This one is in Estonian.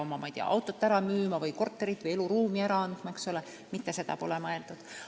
Sa ei pea oma autot ära müüma või korterit või eluruumi ära andma, mitte seda pole mõeldud.